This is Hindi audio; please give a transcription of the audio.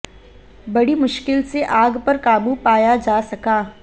बड़ी मुश्किल से आग पर काबू पाया जा सका